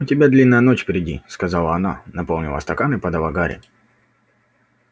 у тебя длинная ночь впереди сказала она наполнила стакан и подала гарри